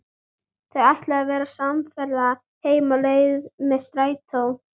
Þau ætla að verða samferða heim á leið með strætó.